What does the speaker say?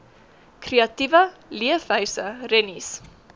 kreatiewe leefwyse rennies